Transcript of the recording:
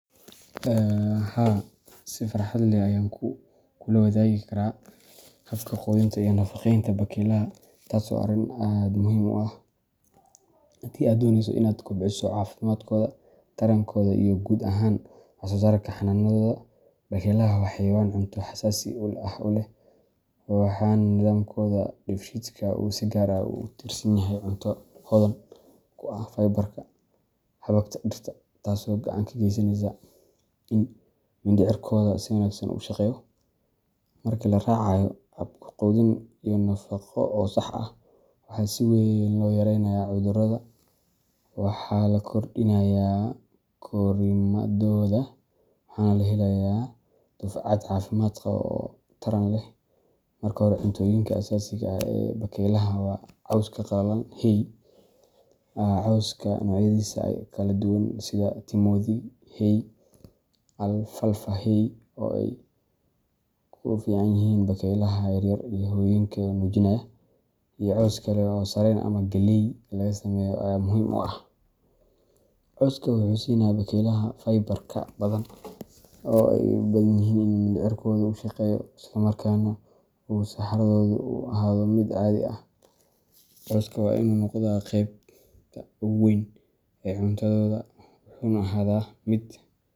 Haa, si farxad leh ayaan kuu la wadaagi karaa habka quudinta iyo nafaqeynta bakeylaha, taasoo ah arrin aad muhiim u ah haddii aad dooneyso inaad kobciso caafimaadkooda, tarankooda, iyo guud ahaan wax-soo-saarka xanaanadooda. Bakeylaha waa xayawaan cunto xasaasi ah u leh, waxaana nidaamkooda dheefshiidka uu si gaar ah ugu tiirsan yahay cunto hodan ku ah fiber-ka xabagta dhirta, taasoo gacan ka geysaneysa in mindhicirkooda si wanaagsan u shaqeeyo. Marka la raacayo hab quudin iyo nafaqo oo sax ah, waxaa si weyn loo yareynayaa cudurada, waxaa la kordhinayaa korriimadooda, waxana la helayaa dufcad caafimaad qaba oo taran leh. Marka hore, cuntooyinka asaasiga ah ee bakeylaha waa cawska qalalan hay. Cawska noocyadiisa kala duwan sida timothy hay, alfalfa hay oo ay u fiican yihiin bakeylaha yar yar iyo hooyooyinka nuujinaya, iyo caws kale oo sarreen ama galley laga sameeyo ayaa muhiim u ah. Cawska wuxuu siinayaa bakeylaha fiberka badan oo ay u baahan yihiin si mindhicirkoodu u shaqeeyo, isla markaana uu saxaradoodu u ahaado mid